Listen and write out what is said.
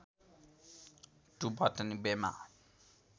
to Botany बेमा